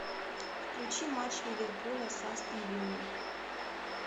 включи матч ливерпуля с астон виллой